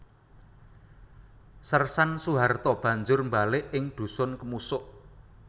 Sersan Soeharto banjur mbalik ing Dhusun Kemusuk